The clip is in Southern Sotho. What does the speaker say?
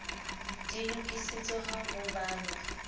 di lokisitswe ha ho balwa